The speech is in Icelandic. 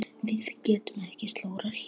Við getum ekki slórað hérna.